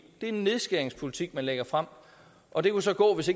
er en nedskæringspolitik man lægger frem og det kunne så gå hvis